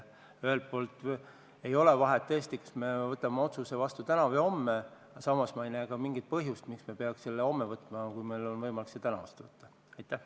Ühelt poolt ei ole tõesti vahet, kas me võtame selle otsuse vastu täna või homme, samas ei näe ma mingit põhjust, miks me peaks selle vastu võtma homme, kui meil on võimalus teha seda täna.